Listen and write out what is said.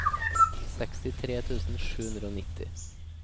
sekstitre tusen sju hundre og nitti